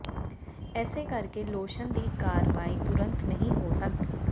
ਇਸੇ ਕਰਕੇ ਲੋਸ਼ਨ ਦੀ ਕਾਰਵਾਈ ਤੁਰੰਤ ਨਹੀਂ ਹੋ ਸਕਦੀ